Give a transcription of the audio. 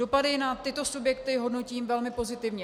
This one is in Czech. Dopady na tyto subjekty hodnotím velmi pozitivně.